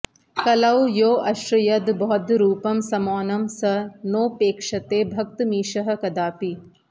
कलौ योऽश्रयद् बौद्धरूपं समौनं स नोपेक्षते भक्तमीशः कदापि